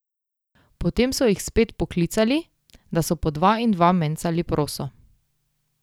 Potem so jih spet poklicali, da so po dva in dva mencali proso.